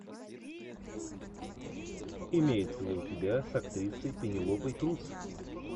имеется ли у тебя с актрисой пенелопой крус